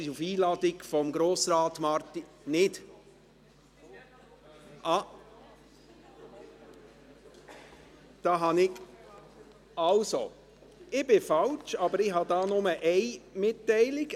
Sie ist auf Einladung von ... Also, ich liege falsch, aber ich habe hier nur eine Mitteilung.